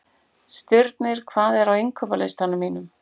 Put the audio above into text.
Stirnir, hvað er á innkaupalistanum mínum?